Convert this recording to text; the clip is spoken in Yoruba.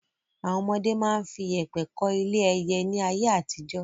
Àwọn ọmọdé máa ń fi yèpẹ̀ kọ́ ilé ẹyẹ ni ayé àtijọ́.